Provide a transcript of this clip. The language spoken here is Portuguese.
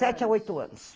Sete a oito anos.